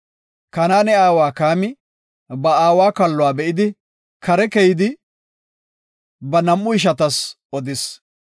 Kanaane aawa Kaami ba aawa kalluwa be7idi, kare keyidi, ba nam7u ishatas odis.